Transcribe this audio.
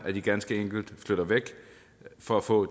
at de ganske enkelt flytter væk for at få